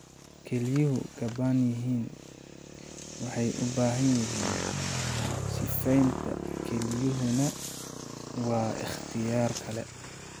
Kelyuhu gabaan yihiin waxay u baahan yihiin sifaynta, kelyuhuna waa ikhtiyaar kale.